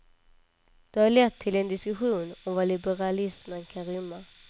Det har lett till en diskussion om vad liberalismen kan rymma.